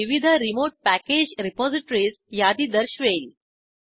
ते विविध remote package repositories यादी दर्शवेल